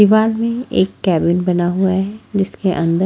दिवाल में एक केबिन बना हुआ है जिसके अंदर--